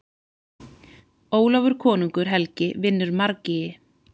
Ólafur konungur helgi vinnur margýgi.